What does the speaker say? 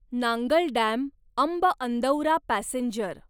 Nangal dam Amb Andaura passenger